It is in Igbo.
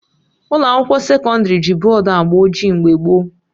Ụlọ akwụkwọ sekọndrị ji bọdụ agba ojii mgbe gboo